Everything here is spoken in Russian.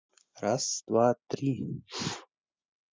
раз два три